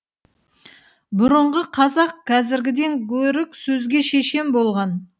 бұрынғы қазақ қазіргіден гөрі сөзге шешен болған